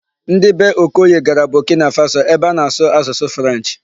Ndị bee Okoye gara Burkina Faso ebe a na-asụ asụsụ 'French'.